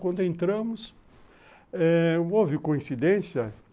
Quando entramos eh, houve coincidência.